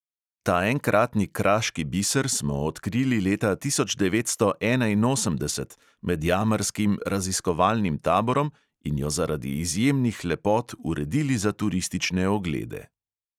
Ta enkratni kraški biser smo odkrili leta tisoč devetsto enainosemdeset med jamarskim raziskovalnim taborom in jo zaradi izjemnih lepot uredili za turistične oglede.